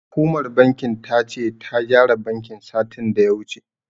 Hukumar bankin ta ce, ta gyara bankin, satin da ya wuce.